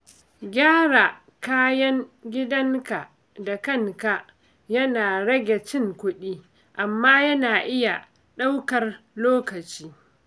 Gyara kayan gidanka da kanka yana rage cin kuɗi, amma yana iya ɗaukar lokaci.